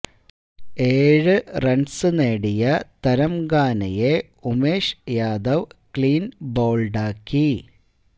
ഏഴു റണ്സ് നേടിയ തരംഗാനയെ ഉമേഷ് യാദവ് ക്ലീന് ബൌള്ഡാക്കി